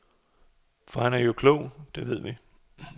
For han er jo klog, det ved vi.